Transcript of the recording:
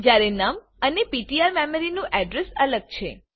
જયારે નમ અને પીટીઆર નું મેમરી અડ્રેસ અલગ છે